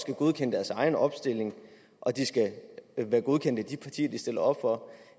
godkende deres egen opstilling og de skal være godkendt af de partier de stiller op for